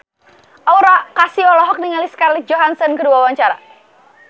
Aura Kasih olohok ningali Scarlett Johansson keur diwawancara